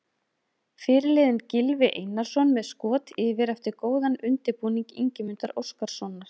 Fyrirliðinn Gylfi Einarsson með skot yfir eftir góðan undirbúning Ingimundar Óskarssonar.